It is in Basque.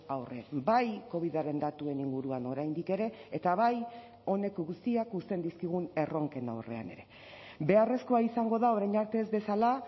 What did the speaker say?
aurre bai covidaren datuen inguruan oraindik ere eta bai honek guztiak uzten dizkigun erronken aurrean ere beharrezkoa izango da orain arte ez dezala